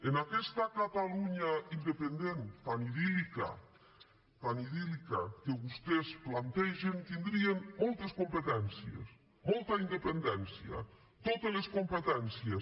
en aquesta catalunya independent tan idíl·lica tan idíltès plantegen tindrien moltes competències molta independència totes les competències